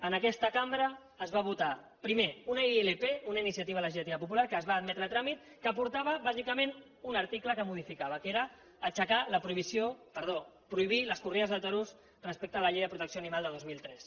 en aquesta cambra es va votar primer una ilp una iniciativa legislativa popular que es va admetre a tràmit que portava bàsicament un article que modificava que era prohibir les corrides de toros respecte a la llei de protecció dels animals de dos mil tres